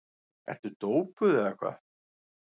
Ertu dópuð eða hvað?